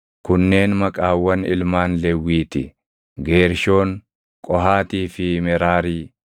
Kunneen maqaawwan ilmaan Lewwii ti: Geershoon, Qohaatii fi Meraarii.